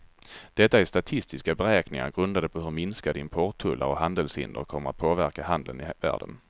Detta är statistiska beräkningar grundade på hur minskade importtullar och handelshinder kommer att påverka handeln i världen.